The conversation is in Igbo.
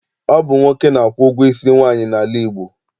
Ọ bụ nwoke na-akwụ ụgwọ isi nwaanyị n'ala Igbo.